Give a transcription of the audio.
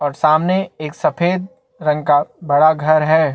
और सामने एक सफ़ेद रंग का बड़ा घर है।